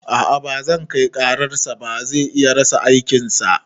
A'a bazan kai karar sa ba, zai iya rasa aikin sa